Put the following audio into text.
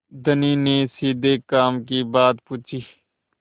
धनी ने सीधे काम की बात पूछी